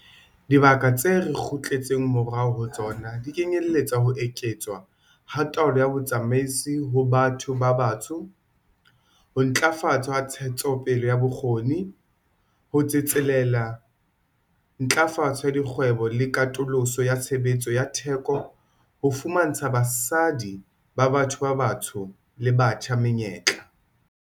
Dibaka tse re kgutletseng morao ho tsona di kenyeletsa ho eketswa ha taolo ya botsamaisi ho batho ba batsho, ho ntlafatswa ha ntshetsopele ya bokgoni, ho tsetselela ntlafatso ya dikgwebo le katoloso ya tshebetso ya theko ho fumantsha basadi ba batho ba batsho le batjha menyetla.